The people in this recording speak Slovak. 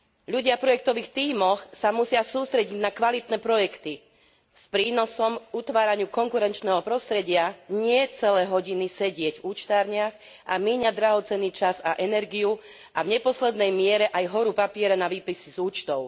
Ľudia v projektových tímoch sa musia sústrediť na kvalitné projekty s prínosom pre utváranie konkurenčného prostredia, nie celé hodiny sedieť v učtárňach a míňať drahocenný čas a energiu a v neposlednej miere aj horu papiera na výpisy z účtov.